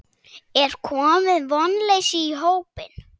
Er komið vonleysi í hópinn?